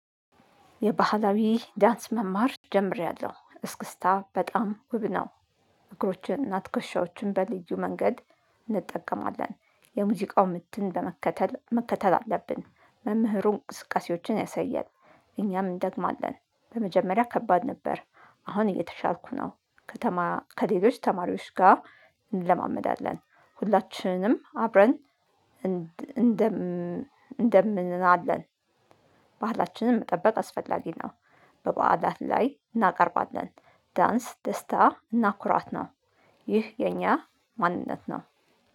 የባህላዊ ዳንስ መማር ጀምሬያለሁ እስክስታ በጣም ውብ ነው። እግሮች እና ትከሻዎችን በልዩ መንገድ እንጠቀማለን የሙዚቃው ምትን ለመከተል መከተል አለብን መምህሩን እንቅስቀሴዎችን ያሳያል። እኛም እንደግማለን በመጀመሪያ ከባድ ነበር። አሁን እየተሻልኩ ነው። ከተማ ከሌሎች ተማሪዎች ጋር እንለማመዳለን። ሁላችንም አብረን እንደምናለን ባህላችንን መጠበቅ አስፈላጊ ነው። በበዓለት ላይ እናቀርባለን። ዳንስ ደስታ እና ኩራት ነው። ይህ የኛ ማንነት ነው